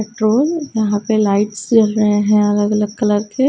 Petrol यहां पे lights जल रहे हैं अलग अलग कलर के।